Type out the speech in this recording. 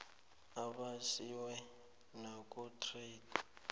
abe asiwe nakutrade